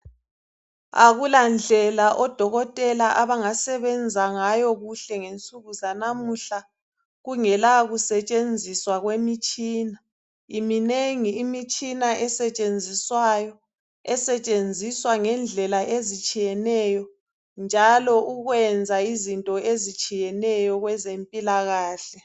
akulandlela odokotela abangasebenza ngayo kuhle ngensuku zanamuhla kungela kusetshenziswa kwemitshina iminengi imitshina esetshenziswayo esetshenziswa ngendlela ezitshiyeneyo njalo ukwenza izinto ezitshiyeneyo kwezempilakahle